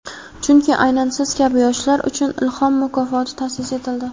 Chunki aynan siz kabi yoshlar uchun "Ilhom" mukofoti ta’sis etildi.